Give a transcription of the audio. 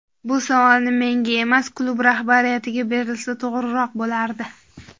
Bu savolni menga emas, klub rahbariyatiga berilsa to‘g‘riroq bo‘lardi.